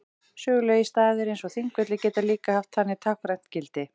Sögulegir staðir eins og Þingvellir geta líka haft þannig táknrænt gildi.